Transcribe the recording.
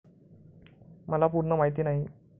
मला पूर्ण माहिती नाही.